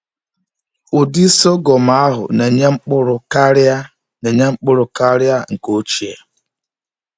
Ụdị sọgọm ahụ na-enye mkpụrụ karịa na-enye mkpụrụ karịa nke ochie.